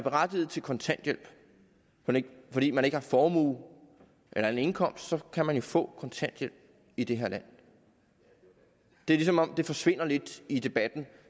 berettiget til kontanthjælp fordi man ikke har formue eller anden indkomst så kan man få kontanthjælp i det her land det er som om det forsvinder lidt i debatten